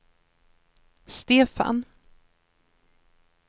Stefan